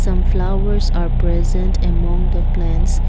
some flowers are present among the plants.